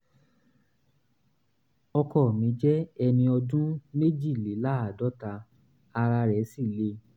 ọkọ mi jẹ́ ẹni ọdún méjìléláàádọ́ta ara rẹ̀ sì le